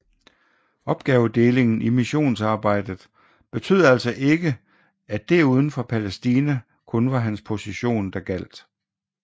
Opgavedelingen i missonsarbejdet betød altså ikke at det uden for Palæstina kun var hans position der gjaldt